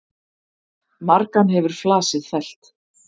Margan hefur flasið fellt.